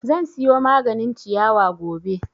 Zan siyo maganin ciyawa gobe